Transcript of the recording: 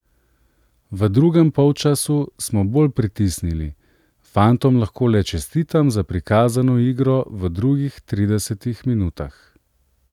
V drugem polčasu smo bolj pritisnili, fantom lahko le čestitam za prikazano igro v drugih tridesetih minutah.